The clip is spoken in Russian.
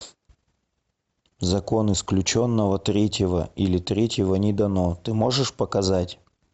закон исключенного третьего или третьего не дано ты можешь показать